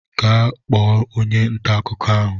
Gaa kpọọ onye ntà akụkọ ahụ!